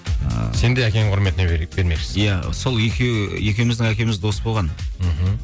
ыыы сенде әкеңнің құрметіне бермекшісің иә сол екеуі екеуміздің әкеміз дос болған мхм